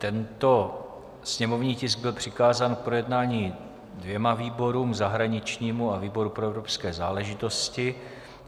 Tento sněmovní tisk byl přikázán k projednání dvěma výborům, zahraničnímu a výboru pro evropské záležitosti.